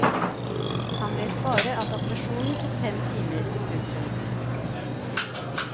Han vet bare at operasjonen tok fem timer. punktum